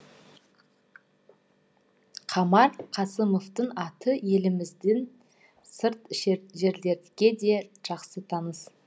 қамар қасымовтың аты елімізден сырт жерлерге де жақсы таныс